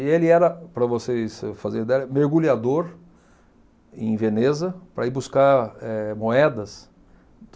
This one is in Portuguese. E ele era, para vocês fazerem ideia, mergulhador em Veneza para ir buscar eh moedas.